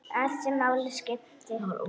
Allt sem máli skipti.